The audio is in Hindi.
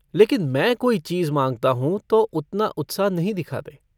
लेकिन मैं कोई चीज माँगता हूँ तो उतना उत्साह नहीं दिखाते।